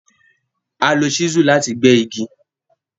À lọ chísù lati pè igi.